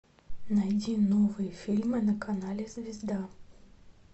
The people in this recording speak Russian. найди новые фильмы на канале звезда